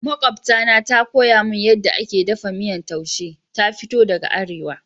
Makwabta na ta koya mun yadda ake daffa miyan taushe. Ta fito daga arewa.